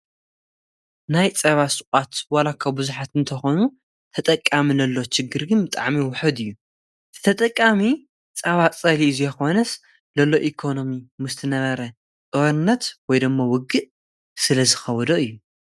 ጸባን ጸባ መሰረት ዝገበረ ፍርያትን ዝሸጣ ትካላት ሸቐጥ እየን። ከም ቅጫ፡ ሓርጭ፡ በርበረን ጣፍን ዝኣመሰሉ ነገራት የቕርቡ። እዘን ድኳናት ንመዓልታዊ ኣጠቓቕማ ተጠቀምቲ ዝኸውን ፍሩይ ፍርያት ጸባ የቕርባ።